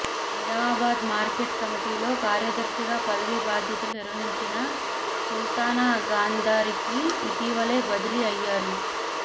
Nizamabad market కమిటీలో కార్యదర్శిగా పదవీ బాధ్యతలు నిర్వహించిన సుల్తానా గాందారికి ఇటీవలే బదిలీ అయ్యారు